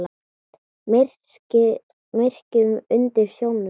Myrkrið undir sjónum.